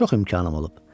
Çox imkanım olub.